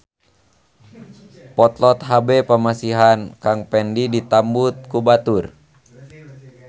Potlot HB pamasihan Kang Pendi ditambut ku batur